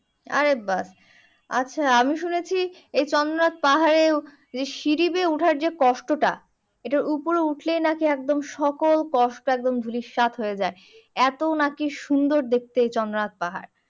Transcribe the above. আরে বাস আচ্ছা আমি শুনাছি এই চন্দ্রনাথ পাহাড়ে এই সিঁড়ি দিয়ে উঠার যে কষ্টটা এটা উপরে উঠলে নাকি একদম সকল কষ্ট একদম ধূলিসাৎ হয়ে যাই এত নাকি সুন্দর দেখতে এই চন্দ্রনাথ পাহাড়